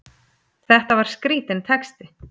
Þetta var skrítinn texti!